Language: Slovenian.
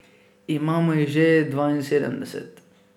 Imamo jih že dvainsedemdeset.